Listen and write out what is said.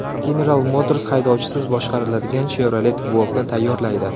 General Motors haydovchisiz boshqariladigan Chevrolet Volt’ni tayyorlaydi.